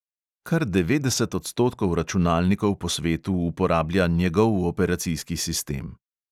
Kar devetdeset odstotkov računalnikov po svetu uporablja njegov operacijski sistem.